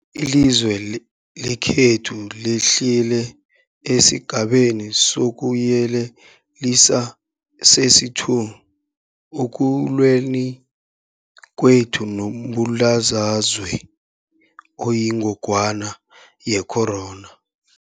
Ilizwe lekhethu lehlele esiGabeni sokuYelelisa sesi-2 ekulweni kwethu nombulalazwe oyingogwana ye-corona.